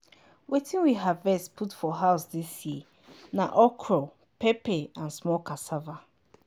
wetin we harvest put for house dis year na okro pepper and small cassava.